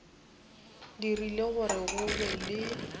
dirile gore go be le